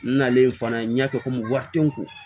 N nalen fana n y'a kɛ komi wari tɛ n kun